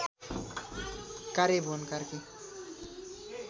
कार्य भुवन कार्की